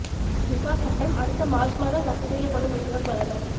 இசா சட்டம் அடுத்த மார்ச் மாதம் ரத்துச் செய்யப்படும் என்கிறார் பிரதமர்